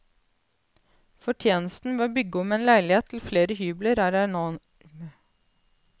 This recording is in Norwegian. Fortjenesten ved å bygge om en leilighet til flere hybler er enorm.